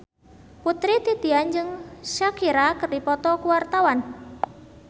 Putri Titian jeung Shakira keur dipoto ku wartawan